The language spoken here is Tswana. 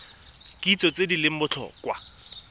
kitso tse di leng botlhokwa